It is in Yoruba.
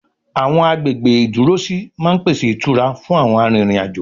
Àwọn agbègbè ìdúrósí máa ń pèsè ìtura frun àwọn arìnriǹ-àjo